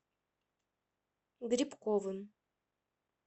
грибковым